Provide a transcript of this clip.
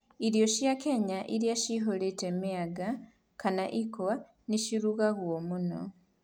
Irio cia Kenya iria ciyũrĩte mĩanga kana ikwa nĩ ciarutagwo mũno.